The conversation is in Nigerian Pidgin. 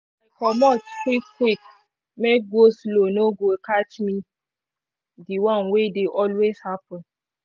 comot quick quick make go-slow no go catch me the one wey dey always happen